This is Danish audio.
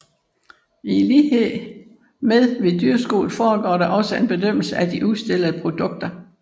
I lighed med ved dyrskuet foregår der også en bedømmelse af de udstillede produkter